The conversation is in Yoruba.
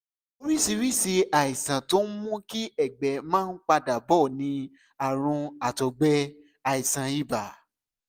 oríṣiríṣi àìsàn tó ń mú kí ẹ̀gbẹ́ máa ń padà bọ̀ ni àrùn àtọ̀gbẹ́ àìsàn ibà